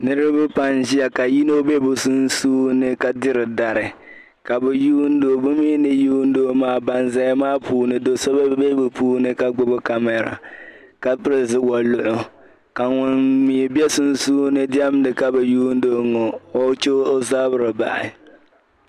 Niriba pam n ʒiya ka yino be bi sunsuuni ka diri dari ka bi yuun do bi mi ni yuun do maa ban zaya maa puuni do so be bi puuni ka gbubi "camera" ka pili woluɣu ka ŋun mi be sunsuuni ka diemda ka bi yuuni o ka o che o zabiri bahi.